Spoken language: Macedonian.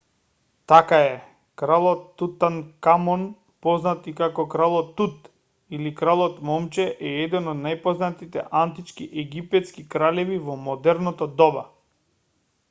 така е кралот тутанкамон познат и како кралот тут или кралот момче е еден од најпознатите антички египетски кралеви во модерното доба